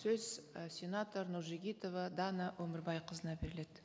сөз і сенатор нұржігітова дана өмірбайқызына беріледі